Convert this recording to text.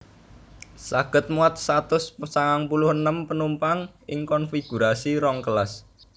Saged muat satus sangang puluh enem penumpang ing konfigurasi rong kelas